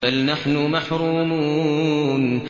بَلْ نَحْنُ مَحْرُومُونَ